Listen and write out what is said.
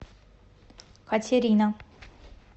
катерина